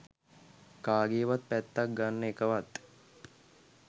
කාගෙවත් පැත්තක් ගන්න එකවත්